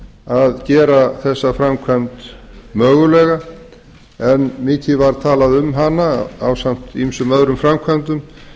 að gera þessa framkvæmd mögulega en mikið var talað um hana ásamt ýmsum öðrum framkvæmdum